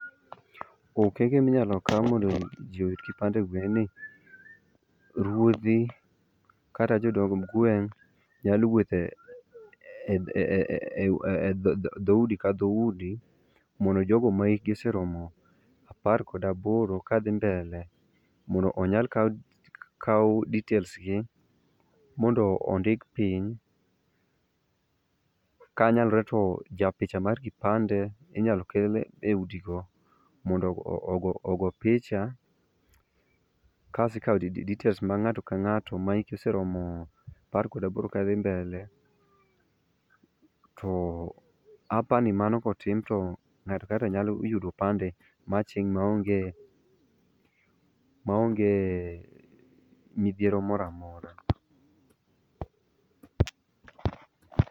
Okenge minyalo okao mondo jii oyud kipande e gweng' en ni ruodhi kata jodong gweng' nyalo wuotho e dhoudi ka dhoudi mondo jogo ma hikgi oseromo apar kod aboro kadhi mbele mondo onyal kao details gi mondo ondik piny. Kanyalre to japicha mar kipande inyalo kel e udi go mondo ogo, ogo picha. Kasto ikao details ma ng'ato kang'ato ma hike oseromo apar kod aboro kadhi mbele to apani mano kotim to ngato ka. ngato nyalo yudo opande machieng maonge, maonge midhiero moro amora